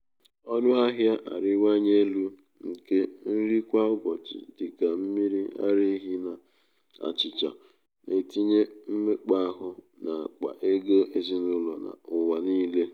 ọnụahịa na-arịwanye elu nke nri kwa ụbọchị dị ka mmiri ara ehi na achịcha na-etinye mmekpa áhù n’akpa ego ezinụlọ n’ụwa niile.